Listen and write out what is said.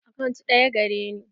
Akant ɗaya gare ni.